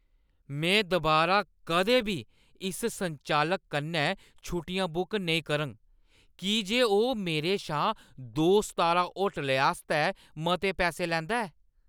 में दुबारा कदें बी इस संचालक कन्नै छुट्टियां बुक नेईं करङ की जे ओह् मेरे शा दो-सितारा होटलें आस्तै मते पैसे लैंदा ऐ ।